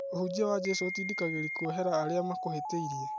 Ũhunjia wa Jesũ ũtindikagĩria kuohera arĩa makũhĩtĩirie.